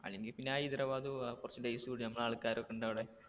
അല്ലെങ്കി പിന്നെ ഹൈദരാബാദ് പോകാ കുറച്ച് days കൂട്ടി നമ്മടെ ആൾക്കാരൊക്കെ ഉണ്ടവിടെ